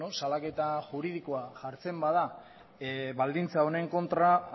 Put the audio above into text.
salaketa juridikoa jartzen bada baldintza honen kontra